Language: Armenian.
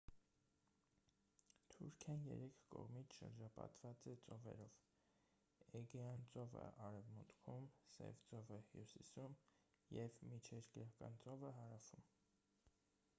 թուրքիան երեք կողմից շրջապատված է ծովերով էգեյան ծովը արևմուտքում սև ծովը հյուսիսում և միջերկրական ծովը հարավում